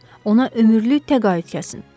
Ona ömürlük təqaüd kəsin.